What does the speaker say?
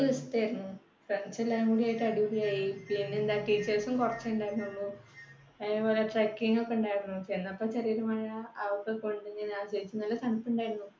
ദിവസത്തെയായിരുന്നു. friends എല്ലാം കൂടെ അടിപൊളിയായി. trekking ഒക്കെയുണ്ടായിരുന്നു. ചെന്നപ്പോ ചെറിയൊരു മഴ നല്ല തണുപ്പുണ്ടായിരുന്നു